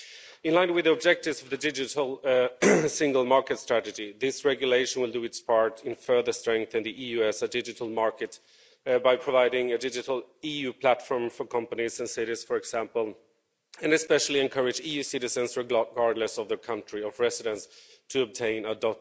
In line with the objectives of the digital single market strategy, this regulation will do its part in further strengthening the EU as a digital market by providing a digital EU platform for companies and cities, for example, and especially encourage EU citizens, regardless of their country of residence, to obtain a